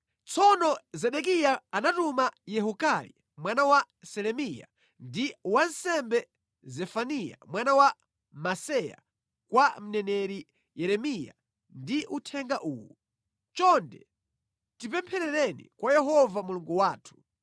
Tsono Zedekiya anatuma Yehukali mwana wa Selemiya ndi wansembe Zefaniya mwana wa Maseya kwa mneneri Yeremiya ndi uthenga uwu: “Chonde tipempherereni kwa Yehova Mulungu wathu.”